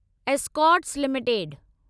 Escorts limited